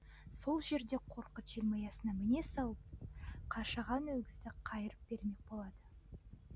сол жерде қорқыт желмаясына міне салып қашаған өгізді қайырып бермек болады